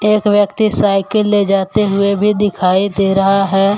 एक व्यक्ति साइकिल ले जाते हुए भी दिखाई दे रहा है।